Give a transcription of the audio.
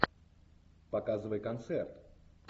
показывай концерт